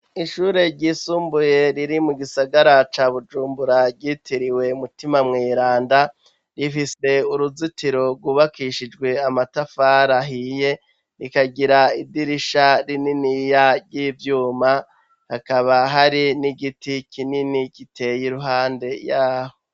Ishure ry'isumbuye riri mu gisagara ca bujumbura ryitiriwe mutima mweranda rifise uruzitiro rwubakishijwe amatafari ahiye rikagira idirisha rinini ya ry'ibyuma hakaba hari n'igiti kinini giteye iruhande yaho.